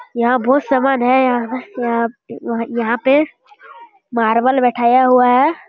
यहां बहुत सामान है यहां यहां पे मार्बल बैठाया हुआ है।